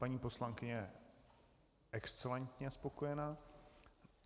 Paní poslankyně je excelentně spokojena.